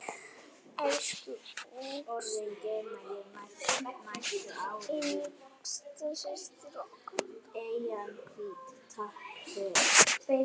Elsku yngsta systir okkar dáin.